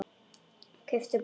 Kauptu blóm.